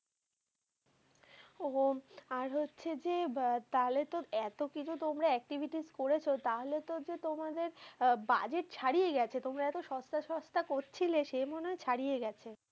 ও আর হচ্ছে যে, আহ তাহলে তো এতকিছু তোমরা activites করেছো তাহলে তো যে তোমাদের budget ছাড়িয়ে গেছে। তোমরা এত সস্তা সস্তা করছিলে, সে মনে হয় ছাড়িয়ে গেছে।